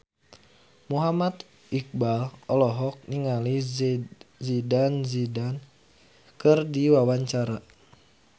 Muhammad Iqbal olohok ningali Zidane Zidane keur diwawancara